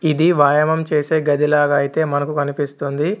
ఇది వాయామం చేసే గదిలాగా అయితే మనకు కనిపిస్తుంది.